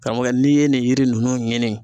Karamɔgɔkɛ n'i ye nin yiri nunnu ɲini